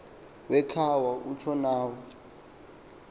wecawa utsho nawo